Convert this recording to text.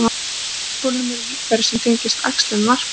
Á afturbolnum eru líffæri sem tengjast æxlun og varpi.